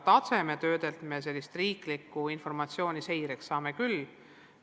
Tasemetööde kaudu saame aga riiklikku informatsiooni seireks küll.